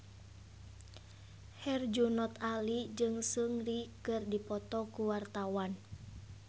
Herjunot Ali jeung Seungri keur dipoto ku wartawan